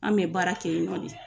An mɛ baara kɛ yen nɔn de